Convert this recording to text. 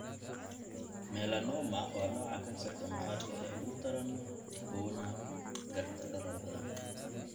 Melanoma waa nooca kansarka maqaarka ee ugu daran uguna gardarrada badan.